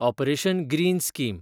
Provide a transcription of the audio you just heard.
operation greens scheme